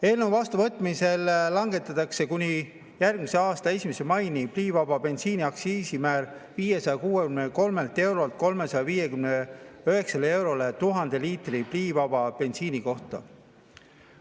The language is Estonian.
Eelnõu vastuvõtmise korral langetatakse kuni järgmise aasta 1. maini pliivaba bensiini aktsiisimäär 563 eurolt 359 eurole 1000 liitri pliivaba bensiini kohta.